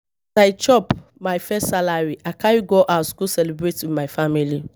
As I chop my first salary, I carry go house go celebrate with my family.